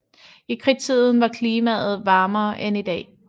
I Kridttiden var klimaet varmere end i dag